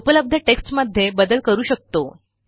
उपलब्ध टेक्स्टमध्ये बदल करू शकतो